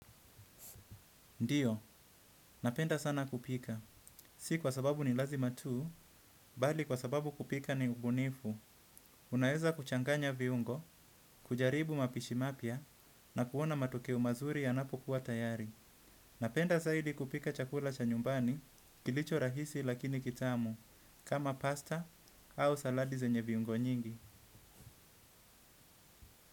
Ndiyo, napenda sana kupika. Si kwa sababu ni lazima tu, bali kwa sababu kupika ni ubunifu. Unaweza kuchanganya viungo, kujaribu mapishi mapya na kuona matokeo mazuri yanapokuwa tayari. Napenda zaidi kupika chakula cha nyumbani, kilicho rahisi lakini kitamu, kama pasta au saladi zenye viungo nyingi.